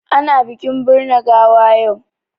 Ana bikin birne gawa yau.